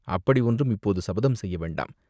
அப்படி ஒன்றும் இப்போது சபதம் செய்ய வேண்டாம்!